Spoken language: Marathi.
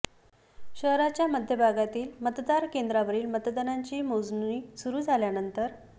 शहराच्या मध्यभागातील मतदान केंद्रावरील मतांची मोजणी सुरू झाल्यानंतर आ